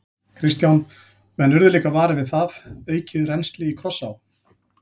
Kristján: Menn urðu líka varir við það, aukið rennsli í Krossá?